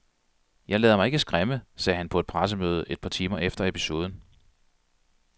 Jeg lader mig ikke skræmme, sagde han på et pressemøde et par timer efter episoden.